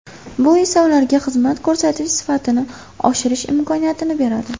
Bu esa ularga xizmat ko‘rsatish sifatini oshirish imkoniyatini beradi.